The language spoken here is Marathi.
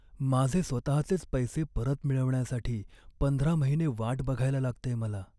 माझे स्वतहाचेच पैसे परत मिळवण्यासाठी पंधरा महिने वाट बघायला लागतेय मला.